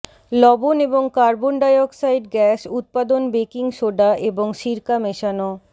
লবণ এবং carbon dioxide gas উত্পাদন বেকিং সোডা এবং সিরকা মেশানো